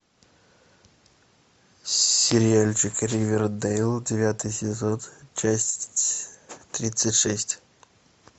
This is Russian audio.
сериальчик ривердейл девятый сезон часть тридцать шесть